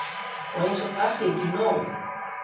Og eins og það sé ekki nóg.